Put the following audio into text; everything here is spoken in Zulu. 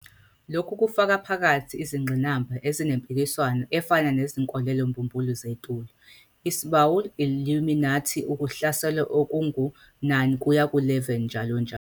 Lokhu kufaka phakathi izingqinamba ezinempikiswano efana 'nezinkolelo-mbumbulu zetulo', isbI-Illuminati, ukuhlaselwa okungu-9-11, njl.